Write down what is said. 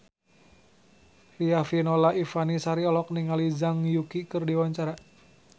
Riafinola Ifani Sari olohok ningali Zhang Yuqi keur diwawancara